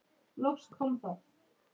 Ertu með penna, já.